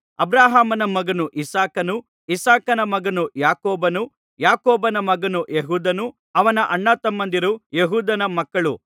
ಅಬ್ರಹಾಮನ ಮಗನು ಇಸಾಕನು ಇಸಾಕನ ಮಗನು ಯಾಕೋಬನು ಯಾಕೋಬನ ಮಗನು ಯೆಹೂದನು ಅವನ ಅಣ್ಣತಮ್ಮಂದಿರು ಯೆಹೂದನ ಮಕ್ಕಳು